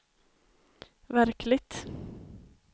verkligt